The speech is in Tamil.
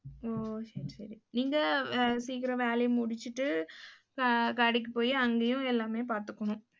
ஓ, சரி சரி. நீங்க அஹ் சீக்கிரம் வேலையை முடிச்சிட்டு அஹ் கடைக்கு போயி அங்கேயும் எல்லாமே பார்த்துக்கணும்.